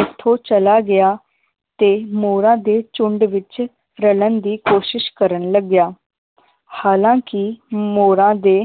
ਓਥੋਂ ਚਲਾ ਗਿਆ ਤੇ ਮੋਰਾਂ ਦੇ ਝੁੰਡ ਵਿਚ ਰਲਣ ਦੀ ਕੋਸ਼ਿਸ਼ ਕਰਨ ਲਗਿਆ ਹਾਲਾਂਕਿ ਮੋਰਾਂ ਦੇ